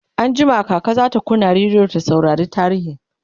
anjima kaka zata kunna rediyo ta saurari tarihi